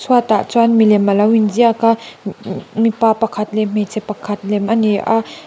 chhuat ah chuan milem alo in ziak a mi-mi-mipa pakhat leh hmeichhe pakhat lem ani a.